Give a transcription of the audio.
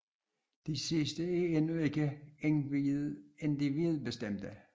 Disse sidste er endnu ikke individbestemte